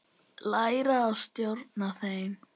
Læra að stjórna þeim.